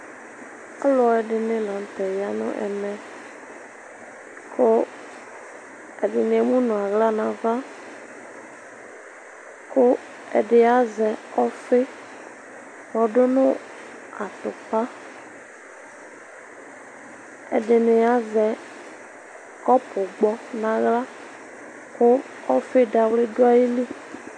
Alʋ ɛdini lanʋtɛ yanʋ ɛmɛ kʋ ɛdini emʋnʋ aɣla nʋ ava kʋ ɛdi azɛ ɔfi kɔdʋ nʋ atupa ɛdini azɛ kɔpu gbɔ nʋ aɣla kʋ ɔfi dawli dʋ ayili